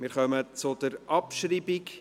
Wir kommen zur Abschreibung.